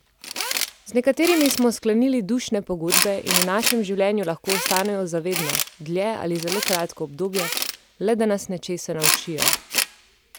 Z nekaterimi smo sklenili dušne pogodbe in v našem življenju lahko ostanejo za vedno, dlje ali zelo kratko obdobje, le da nas nečesa naučijo.